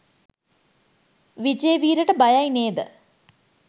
විජේවීරට බයයි නේද?